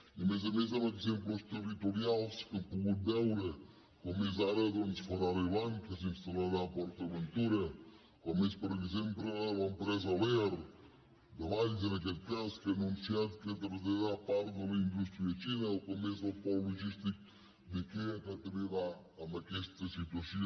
a més a més amb exemples territorials que hem pogut veure com és ara ferrari land que s’instal·larà a port aventura com és per exemple l’empresa lear de valls en aquest cas que ha anunciat que traslladarà part de la indústria a xina o com és el pol logístic d’ikea que també va en aquesta situació